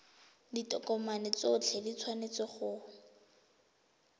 ditokomane tsotlhe di tshwanetse go